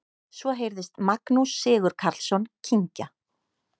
Svo heyrðist Magnús Sigurkarlsson kyngja.